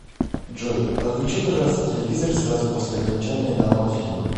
джой отключи пожалуйста телевизор сразу после окончания данного фильма